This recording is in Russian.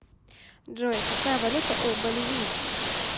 джой какая валюта у боливийцев